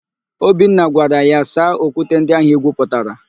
Obinna gwara ya, "saa okwute ndị ahụ igwuputara"!